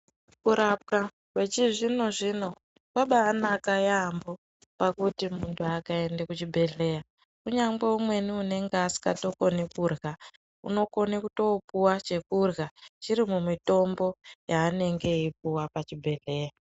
Kurapwa kwechi zvino zvino kwaba naka yamho pakuti muntu akaende kuchibhendhleya, kunyangwe unenge asingatokoni kudya unokone kutopuwa chekudya chiri mumwitombo yaanenge eipuwa pachibhedhleya